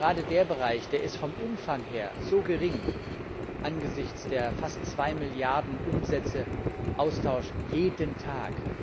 Aber gerade dieser Bereich ist vom Umfang her so gering angesichts der fast 2 Milliarden Umsätze jeden Tag!